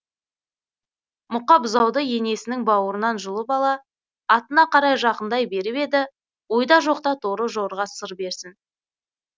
мұқа бұзауды енесінің бауырынан жұлып ала атына қарай жақындай беріп еді ойда жоқта торы жорға сыр берсін